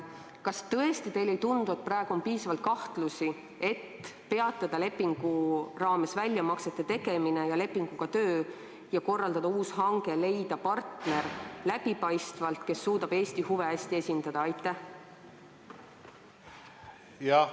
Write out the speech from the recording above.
Kas teile tõesti ei tundu, et praegu on piisavalt kahtlusi, et peatada lepingu raames väljamaksete tegemine ja lepingu alusel töötamine ning korraldada uus hange, et leida läbipaistvalt partner, kes suudab Eesti huve hästi kaitsta?